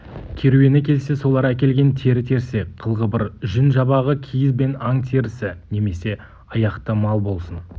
керуені келсе солар әкелген тері-терсек қыл-қыбыр жүн-жабағы киіз бен аң терісі немесе аяқты мал болсын